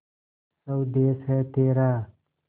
स्वदेस है तेरा